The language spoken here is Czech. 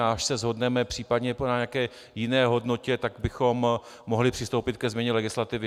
A až se shodneme případně na nějaké jiné hodnotě, tak bychom mohli přistoupit ke změně legislativy.